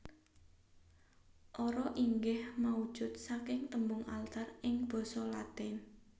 Ara inggih maujud saking tembung altar ing basa Latin